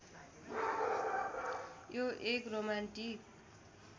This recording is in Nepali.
यो एक रोमान्टिक